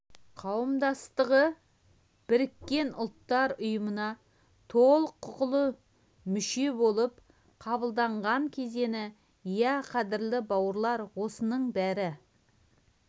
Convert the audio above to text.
қауымдастығы біріккен ұлттар ұйымына толық құқылы мүше болып қабылданған кезеңі иә қадірлі бауырлар осының бәрі